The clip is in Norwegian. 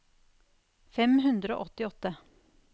fem hundre og åttiåtte